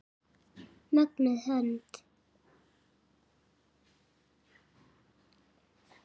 Mögnuð hönd.